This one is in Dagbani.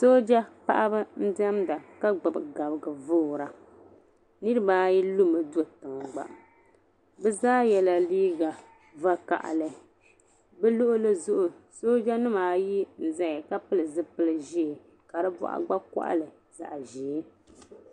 Sooja paɣiba n-diɛmda ka gbibi gabiga foora. Niriba ayi lumi do tiŋa gba. Bɛ zaa yɛla vakahili. Bɛ luɣili zuɣu soojanima ayi n-zaya ka pili zipil' ʒee ka di bɔɣu gba kpɔɣili zaɣ' ʒee.